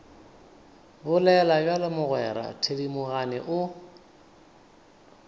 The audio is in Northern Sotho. bolela bjalo mogwera thedimogane o